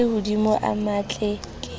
a lehodimo a matle ke